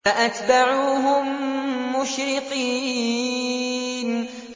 فَأَتْبَعُوهُم مُّشْرِقِينَ